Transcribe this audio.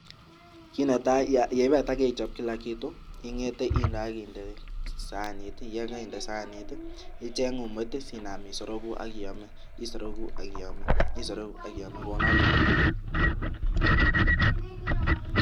Kit netai ye ibata keichob kila kitu ing'ete inde saanit. Yon koinde saanit icheng umoit sinam isoroku ak iome kounoto kityo.